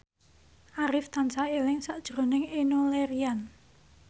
Arif tansah eling sakjroning Enno Lerian